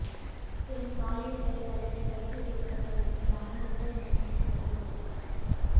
சிறுமி பாலியல் கொலை வழக்கில் கைது செய்யப்பட்டவர் மீதான குண்டர் சட்டம் ரத்து